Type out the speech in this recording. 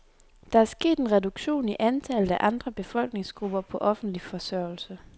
Der er sket en reduktion i antallet af andre befolkningsgrupper på offentlig forsørgelse.